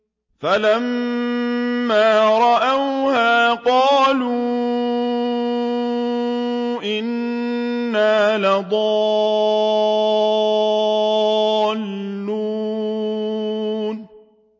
فَلَمَّا رَأَوْهَا قَالُوا إِنَّا لَضَالُّونَ